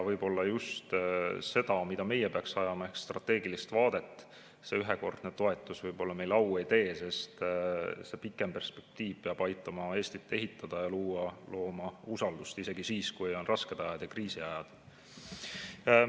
Võib-olla just selle tõttu, mida meie peaksime ajama ehk strateegilist vaadet, see ühekordne toetus meile au ei tee, sest pikem perspektiiv peab aitama Eestit ehitada ja looma usaldust isegi siis, kui on rasked ajad ja kriisiajad.